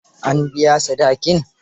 An biya sadakin?